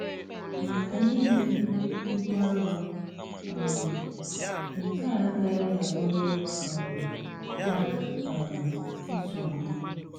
Maka ndi n'ebu ibu arọ um nke a agaghi abụrụ um ha um nsogbụ